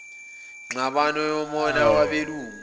ngxabano yomona wabelungu